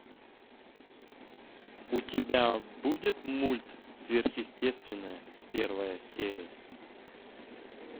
у тебя будет мульт сверхъестественное первая серия